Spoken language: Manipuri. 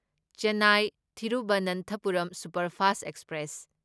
Chennai Thiruvananthapuram superfast express